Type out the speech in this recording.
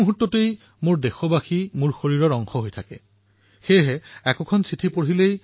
আৰু সেইবাবে যেতিয়াই মই পত্ৰখন পঢ়ো তেতিয়া মই সেই স্থান আৰু সন্দৰ্ভৰ দ্বাৰা সহজেই আপোনালোকৰ সৈতে সম্পৰ্ক স্থাপন কৰিব পাৰোঁ